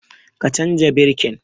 Ka canza birkin!